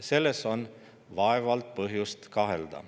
Selles on vaevalt põhjust kahelda.